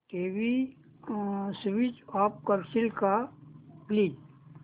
TV switch off करशील का please